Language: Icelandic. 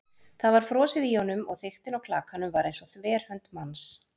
Það var frosið í honum- og þykktin á klakanum var eins og þverhönd manns.